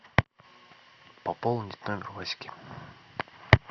пополнить номер васьки